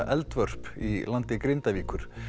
Eldvörp í landi Grindavíkur